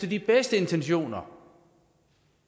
de bedste intentioner